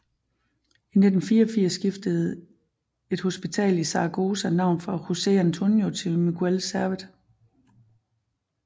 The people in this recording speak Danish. I 1984 skiftede en hospital i Zaragoza navn fra José Antonio til Miguel Servet